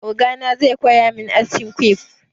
Ogana zai koya min askin quiff.